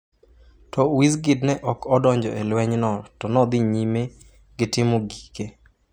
To Wizkid ne ok odonjo e lwenyno to ne odhi nyime gi timo gike.